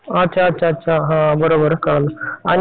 फक्त नावाला तर नोकरी च हाय